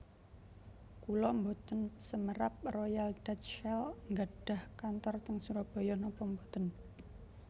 Kula mboten semerap Royal Dutch Shell nggadhah kantor teng Surabaya nopo mboten